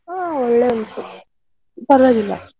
ಹಾ ಒಳ್ಳೆ ಉಂಟು ಪರ್ವಾಗಿಲ್ಲ.